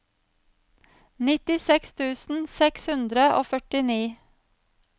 nittiseks tusen seks hundre og førtini